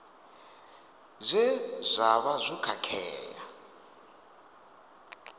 zwe zwa vha zwo khakhea